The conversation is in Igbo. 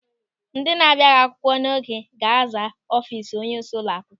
Ndị abịaghị akwụkwọ n'oge ga-aza ọfiisi onyeisi ụlọ akwụkwọ.